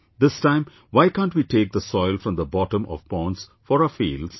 This time why can't we take the soil from the bottom of ponds for our fields